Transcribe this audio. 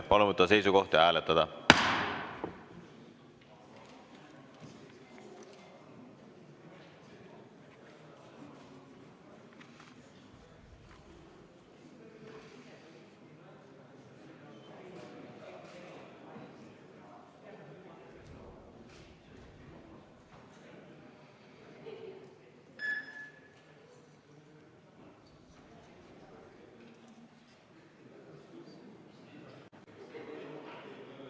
Palun võtta seisukoht ja hääletada!